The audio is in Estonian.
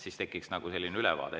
Siis tekiks nagu ülevaade.